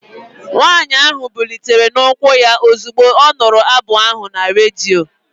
Nwanyị ahụ bilitere n'ụkwụ ya ozugbo ọ nụrụ abụ ahụ na redio